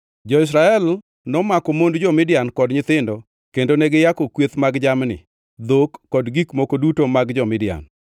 Jo-Israel nomako mond jo-Midian kod nyithindo kendo ne giyako kweth mag jamni, dhok, kod gik moko duto mag jo-Midian.